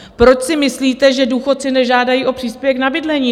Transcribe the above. Proč si myslíte, že důchodci nežádají o příspěvek na bydlení?